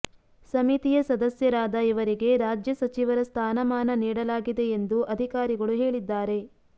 ಸಮಿತಿಯ ಸದಸ್ಯರಾದ ಇವರಿಗೆ ರಾಜ್ಯ ಸಚಿವರ ಸ್ಥಾನಮಾನ ನಿಡಲಾಗಿದೆ ಎಂದು ಅಧಿಕಾರಿಗಳು ಹೇಳಿದ್ದಾರೆ